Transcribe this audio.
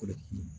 Kolo